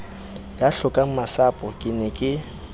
ya hlokangmasapo ke ne ke